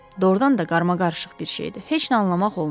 Doğrudan da qarmaqarışıq bir şeydi, heç nə anlamaq olmurdu.